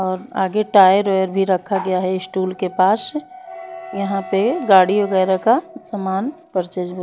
और आगे tyre wire भी रखा गया है इस्टूल के पास यहाँ पे गाड़ी वगैरह का सामान परचेस में --